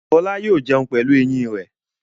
Fọlá yóò jẹun pẹ̀lú eyín rẹ̀.